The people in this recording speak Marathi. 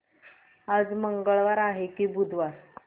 आज मंगळवार आहे की बुधवार